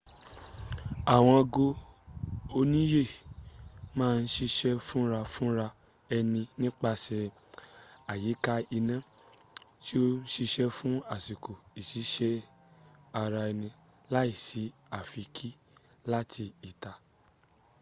àwọn ago oníyè máà n sisè fúnrafúnra ẹni nípasè àyíká iná tí o n sisé fún àsìkò ìsisẹ ara eni làísí àfikín láti ìta